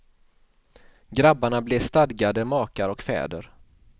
Grabbarna blev stadgade makar och fäder.